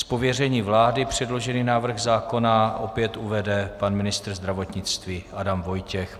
Z pověření vlády předložený návrh zákona opět uvede pan ministr zdravotnictví Adam Vojtěch.